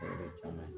caman